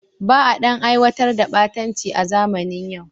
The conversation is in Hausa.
Ba a ɗan aiwatar da ɓatanci a zamanin yau.